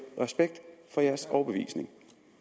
respekt for jeres overbevisning